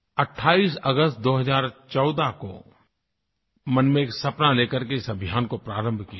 28 अगस्त 2014 को मन में एक सपना ले करके इस अभियान को प्रारंभ किया था